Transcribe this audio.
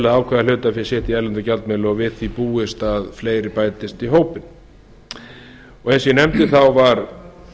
ákveða hlutafé sitt í erlendum gjaldmiðli og við því er búist að fleiri bætist í hópinn eins og ég nefndi skipaði